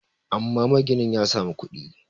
amma maginin ya samu kudi